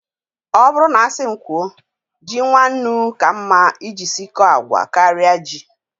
Ọ bụrụ na asị m kwuo, ji nwannu ka mma iji sikọọ agwa karịa ji